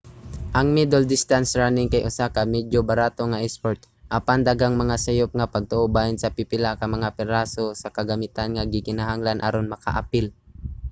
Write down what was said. ang middle distance running kay usa ka medyo barato nga isport; apan daghang mga sayop nga pagtoo bahin sa pipila ka mga piraso sa kagamitan nga gikinahanglan aron makaapil